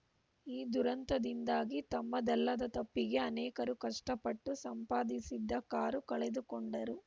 ಈ ದುರಂತದಿಂದಾಗಿ ತಮ್ಮದಲ್ಲದ ತಪ್ಪಿಗೆ ಅನೇಕರು ಕಷ್ಟಪಟ್ಟು ಸಂಪಾದಿಸಿದ್ದ ಕಾರು ಕಳೆದುಕೊಂಡರು